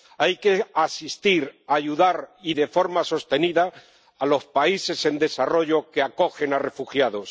Hay que asistir, ayudar —y de forma sostenida— a los países en desarrollo que acogen a refugiados.